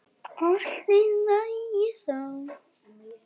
Allt í lagi þá.